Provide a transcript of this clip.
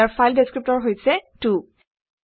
ইয়াৰ file ডেচক্ৰিপটৰ হৈছে 2